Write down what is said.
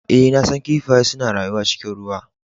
Ee, na san kifaye suna rayuwa cikin ruwa.